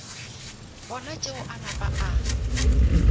bona tšeo a napa a